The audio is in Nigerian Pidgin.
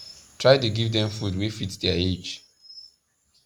try da give them food wa fit their age